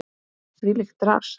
Þvílíkt drasl!